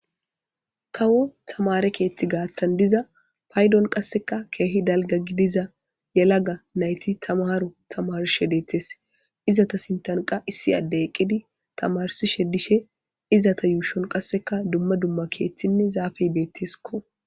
kawo tamare keethti gaattan diza paydon qasseka keehi dalga gidiza yelaga nayti tamaharo tamarishe deetes izata sintanqa issi adde eqqidi tamarsishe dishe izata yuushon qasseka dumma dumma keeththinne zaafey beetteskko.